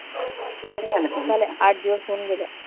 कधी झाल्या परीक्षा आठ दिवस होऊन गेले.